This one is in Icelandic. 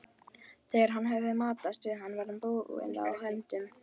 Þegar hann hafði matast var hann bundinn á höndunum.